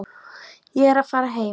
Ég er að fara heim.